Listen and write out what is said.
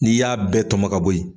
N'i y'a bɛɛ tɔmɔ ka bɔ yen